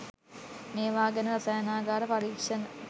මේවා ගැන රසායනාගාර පරීක්ෂණ